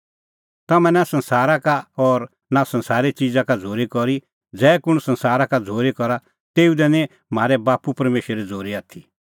तम्हैं नां संसारा का और नां संसारे च़िज़ा का झ़ूरी करी ज़ै कुंण संसारा का झ़ूरी करा तेऊ दी निं म्हारै बाप्पू परमेशरे झ़ूरी आथी